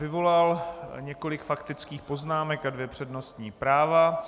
Vyvolal několik faktických poznámek, a dvě přednostní práva.